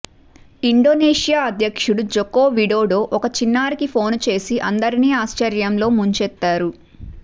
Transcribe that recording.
Indonesia అధ్యక్షుడు Joko Widodo ఒక చిన్నారికి ఫోను చేసి అందరినీ ఆశ్చర్యంలో ముంచెత్తారు